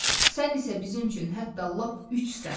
Sən isə bizim üçün hətta lap üçsən.